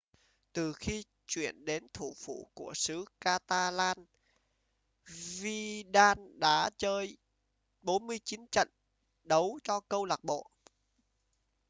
từ khi chuyển đến thủ phủ của xứ catalan vidal đã chơi 49 trận đấu cho câu lạc bộ